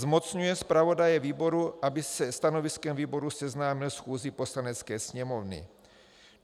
Zmocňuje zpravodaje výboru, aby se stanoviskem výboru seznámil schůzi Poslanecké sněmovny.